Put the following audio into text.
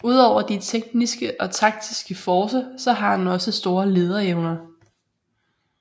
Udover de tekniske og taktiske forcer så har han også store lederevner